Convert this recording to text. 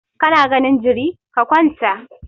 Ka na ganin jiri, ka kwanta!